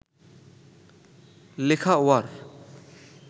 লেখা ওয়াড়